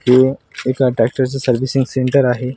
हे एका ट्रॅक्टरच सर्विसिंग सेंटर आहे.